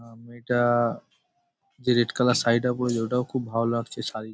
আ মেয়ে-টা-আ যে red colour sari -টা পরেছে ওটাও খুব ভালো লাগছে শাড়ী --